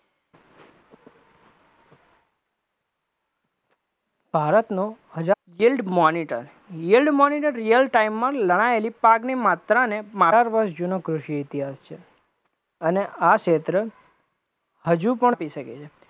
ભારતનો હજાર yield monitor, yield monitor real time માં લણાયેલી પાકની માત્રાને વર્ષ જૂનો કૃષિ ઇતિહાસ છે, અને આ ક્ષેત્ર હજુ પણ